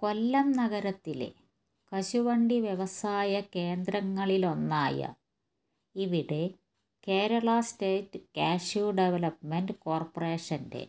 കൊല്ലം നഗരത്തിലെ കശുവണ്ടി വ്യവസായ കേന്ദ്രങ്ങളിലൊന്നായ ഇവിടെ കേരള സ്റ്റേറ്റ് കാഷ്യു ഡെവലപ്മെന്റ് കോർപ്പറേഷന്റെ